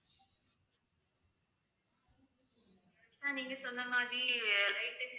sir நீங்க சொன்ன மாதிரி light insurance